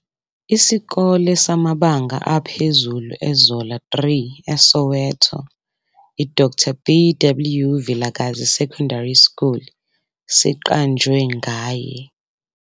Isikole samabanga aphezulu eZola 3, eSoweto, i-Dr B. W. Vilakazi S. S siqanjwe ngaye.